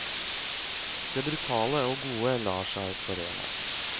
Det brutale og gode lar seg forene.